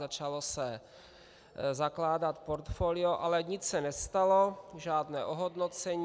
Začalo se zakládat portfolio, ale nic se nestalo, žádné ohodnocení.